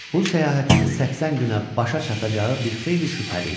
Bu səyahətin 80 günə başa çatacağı bir xeyli şübhəli idi.